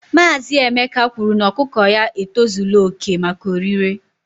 Maazị Emeka kwuru na ọkụkọ ya e tozula oke maka orire